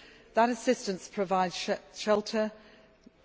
be needed. That assistance provides shelter,